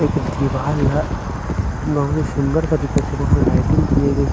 एक दिवाल ला बहुत सुंदर सा दिखत हे वहाँ लाइटिंग किये गये हे।